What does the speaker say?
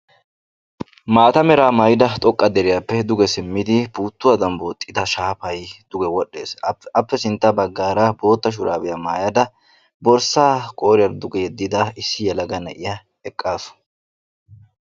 maata meraa mayyida xoqqa deriyappe simmidi puuttuwadan booxxida shaafay duge wodhdhes. appe sintta baggaara bootta shuraabiya mayada borssaa qooriyaara duge yeddida issi yelaga na'iya eqqaasu.